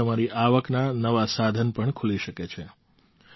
તેનાથી તમારી આવકનાં નવાં સાધન પણ ખુલી શકે છે